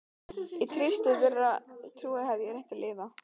Í trausti þeirrar trúar hef ég reynt að lifa.